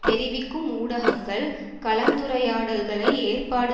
தெரிவிக்கும் ஊடகங்கள் கலந்துரையாடல்களை ஏற்பாடு